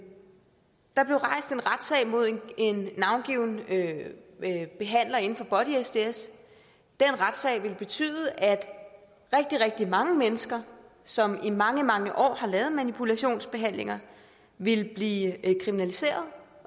retssag mod en navngiven behandler inden for body sds den retssag ville betyde at rigtig rigtig mange mennesker som i mange mange år har lavet manipulationsbehandlinger ville blive kriminaliseret